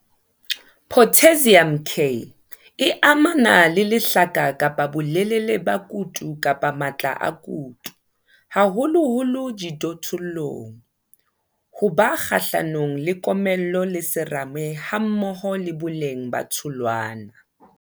Potassium, K, e amana le lehlaka kapa bolelele ba kutu kapa matla a kutu, haholoholo dijothollong, ho ba kgahlanong le komello le serame hammoho le boleng ba tholwana.